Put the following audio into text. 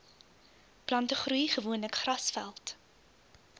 plantegroei gewoonlik grasveld